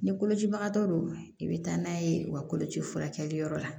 Ni kolocibagatɔ don i bɛ taa n'a ye u ka koloci furakɛliyɔrɔ la